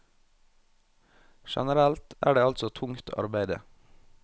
Generelt er det altså tungt arbeide.